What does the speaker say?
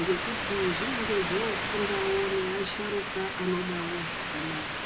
ngekuti zvinenge zvofundawo neasharuka anodawo zvakanaka.